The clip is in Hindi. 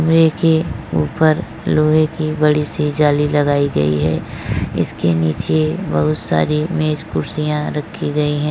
रे के ऊपर लोहे की बड़ी सी जाली लगाई गई है। इसके नीचे बहोत सारी मेज कुर्सियां रखी गई है।